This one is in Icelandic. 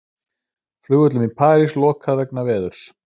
Flugvöllum í París lokað vegna veðurs